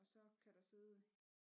Og så kan der sidde